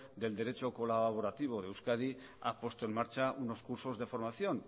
del derecho colaborativo de euskadi ha puesto en marcha unos cursos de formación